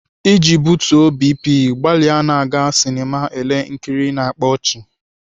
Iji butuo BP, gbalịa na-aga sinema ele nkiri na-akpa ọchị.